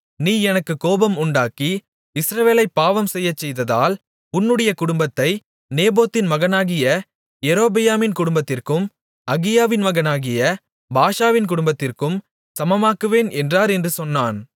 நீ எனக்குக் கோபம் உண்டாக்கி இஸ்ரவேலைப் பாவம் செய்யச்செய்ததால் உன்னுடைய குடும்பத்தை நேபாத்தின் மகனாகிய யெரொபெயாமின் குடும்பத்திற்கும் அகியாவின் மகனாகிய பாஷாவின் குடும்பத்திற்கும் சமமாக்குவேன் என்றார் என்று சொன்னான்